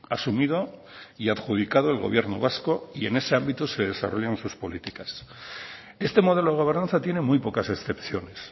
asumido y adjudicado el gobierno vasco y en ese ámbito se desarrollan sus políticas este modelo de gobernanza tiene muy pocas excepciones